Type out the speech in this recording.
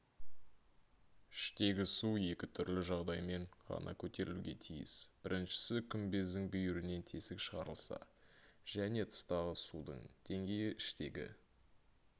іштегі су екі түрлі жағдаймен ғана көтерілуге тиіс біріншісі күмбездің бүйірінен тесік шығарылса және тыстағы судың деңгейі іштегі